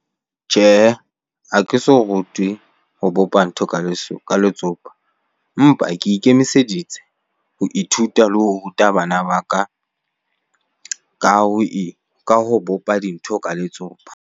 Tjhehe, ha ke so rutwe ho bopa ntho ka ka letsopa. Empa ke ikemiseditse ho ithuta le ho ruta bana ba ka, ka ho ka ho bopa dintho ka letsopa.